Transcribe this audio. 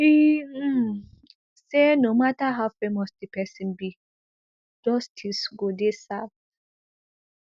e um say no mata how famous di pesin be justice go dey serve